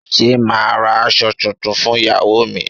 Ṣé màá ra aṣọ tuntun fún Ìyáwó mi.